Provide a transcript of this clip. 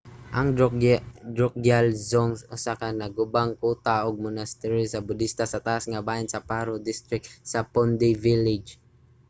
ang drukgyal dzong usa ka nagubang kuta ug monastery sa budista sa taas nga bahin sa paro district sa phondey village